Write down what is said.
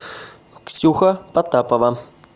ксюха потапова